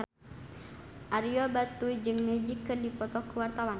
Ario Batu jeung Magic keur dipoto ku wartawan